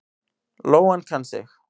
Lóan kann sig.